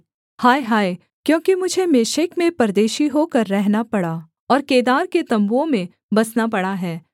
हाय हाय क्योंकि मुझे मेशेक में परदेशी होकर रहना पड़ा और केदार के तम्बुओं में बसना पड़ा है